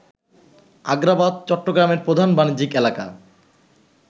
আগ্রাবাদ, চট্টগ্রামের প্রধান বাণিজ্যিক এলাকা